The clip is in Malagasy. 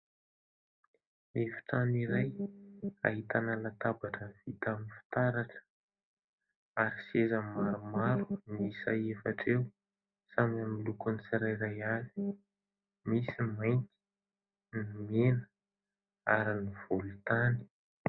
Efitrano iray ahitana latabatra vita amin'ny fitaratra, ary seza maromaro miisa efatra eo samy amin'ny lokony tsirairay avy. Misy ny mainty, ny mena ary ny volontany.